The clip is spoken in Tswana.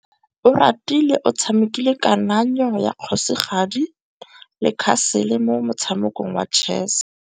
Oratile o tshamekile kananyô ya kgosigadi le khasêlê mo motshamekong wa chess.